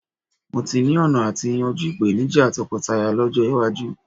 Mó tí ni ọ̀nà àti yanjú ìpèníjà tọkọtaya lọ́jọ́ iwájú